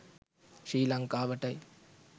ශ්‍රී ලංකාවටයි.